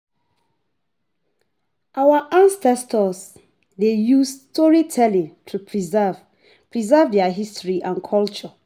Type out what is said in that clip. Our ancestors dey use storytelling to preserve preserve their history and culture.